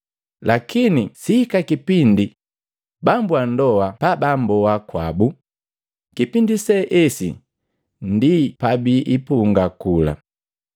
Lakini sihika kipindi bambu wa ndoa pabamboa kwabu, kipindi se esi ndi pabiipunga kula.